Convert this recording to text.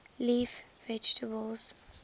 leaf vegetables